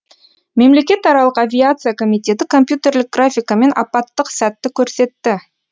мемлекетаралық авиация комитеті компьютерлік графикамен апаттық сәтті көрсетті